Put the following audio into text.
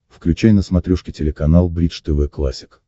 включай на смотрешке телеканал бридж тв классик